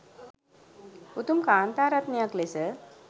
උතුම් කාන්තා රත්නයක් ලෙස